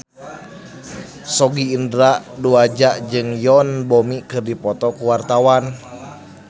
Sogi Indra Duaja jeung Yoon Bomi keur dipoto ku wartawan